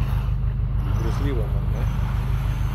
Grozljivo, mar ne?